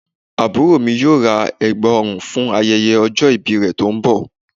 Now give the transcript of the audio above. Àbúrò mi yóò ra ẹ̀gbà ọrùn fún ayẹyẹ ọjọ́ ìbí rẹ̀ tó ń bọ̀